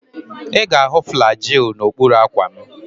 Ị ga-ahụ Flagyl n'okpuru akwa m.